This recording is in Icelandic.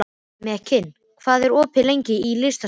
Mekkin, hvað er opið lengi í Listasafninu?